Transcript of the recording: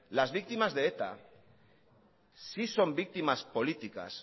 las víctimas de eta sí son víctimas políticas